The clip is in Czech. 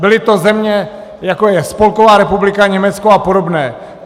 Byly to země, jako je Spolková republika Německo a podobné.